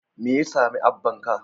Me ya sami abbanka?